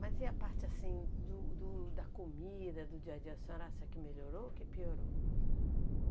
Mas e a parte, assim, do do da comida, do dia a dia, a senhora acha que melhorou ou que piorou?